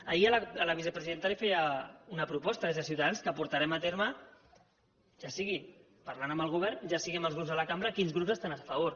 ahir a la vicepresidenta li feia una proposta des de ciutadans que portarem a terme ja sigui parlant amb el govern ja sigui amb els grups de la cambra quins grups estan a favor